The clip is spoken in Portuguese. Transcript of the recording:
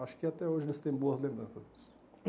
Acho que até hoje eles têm boas lembranças.